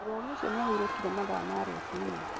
Mũrwaru ucio nĩahurũkire mathaa ma rũcinĩ